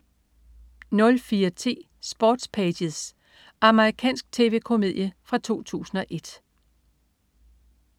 04.10 Sports Pages. Amerikansk tv-komedie fra 2001